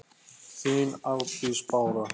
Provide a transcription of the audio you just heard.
þín Arndís Bára.